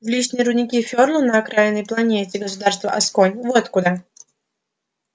в личные рудники ферла на окраинной планете государства асконь вот куда